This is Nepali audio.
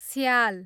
स्याल